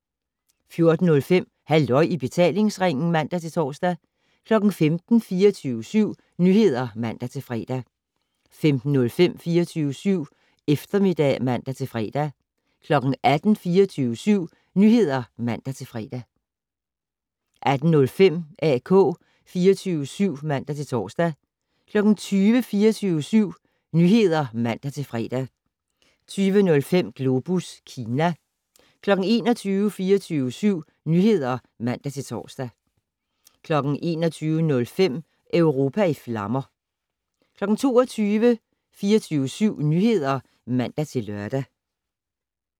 14:05: Halløj i betalingsringen (man-tor) 15:00: 24syv Nyheder (man-fre) 15:05: 24syv Eftermiddag (man-fre) 18:00: 24syv Nyheder (man-fre) 18:05: AK 24syv (man-tor) 20:00: 24syv Nyheder (man-fre) 20:05: Globus Kina 21:00: 24syv Nyheder (man-tor) 21:05: Europa i flammer 22:00: 24syv Nyheder (man-lør)